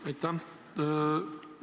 Aitäh!